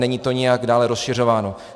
Není to nijak dále rozšiřováno.